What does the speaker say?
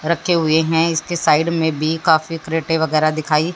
रखे हुए हैं इसके साइड में भी काफी क्रेटे वगैरा दिखाइ--